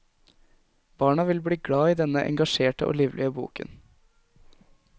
Barna vil bli glad i denne engasjerte og livlige boken.